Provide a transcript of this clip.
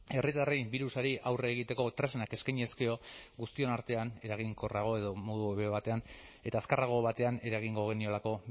herritarrei birusari aurre egiteko tresnak eskainiz gero guztion artean eraginkorrago edo modu hobeago batean eta azkarrago batean eragingo geniolako